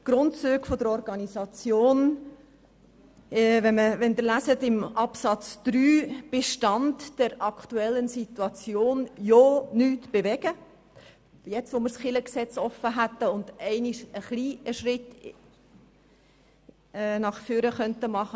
Wenn Sie Absatz 3 «Stand der aktuellen Situation» lesen, dann sehen Sie, dass man ja nichts bewegen will, gerade jetzt nicht, wo das Kirchengesetz doch offen vor uns liegt und wir einmal einen Schritt vorwärtsgehen könnten.